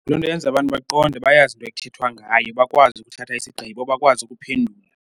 Loo nto yenza abantu baqonde bayazi into ekuthethwa ngayo bakwazi ukuthatha isigqibo bakwazi ukuphendula.